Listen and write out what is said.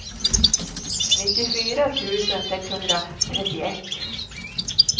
nittiofyra tusen sexhundratrettioett